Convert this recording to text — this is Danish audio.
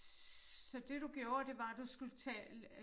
Så det du gjorde det var du skulle tale øh